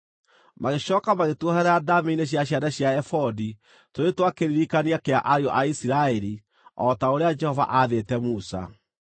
Magĩcooka magĩtuoherera ndaamĩ-inĩ cia ciande cia ebodi tũrĩ twa kĩririkania kĩa ariũ a Isiraeli, o ta ũrĩa Jehova aathĩte Musa.